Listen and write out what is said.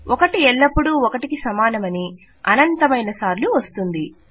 1 ఎల్లప్పుడూ 1 కి సమానమని అనంతమైన సార్లు వస్తుంది